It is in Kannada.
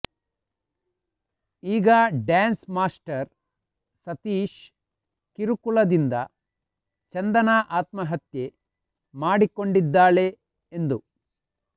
ಈಗ ಡ್ಯಾನ್ಸ್ ಮಾಸ್ಟರ್ ಸತೀಶ್ ಕಿರುಕುಳದಿಂದ ಚಂದನಾ ಆತ್ಮಹತ್ಯೆ ಮಾಡಿಕೊಂಡಿದ್ದಾಳೆ ಎಂದು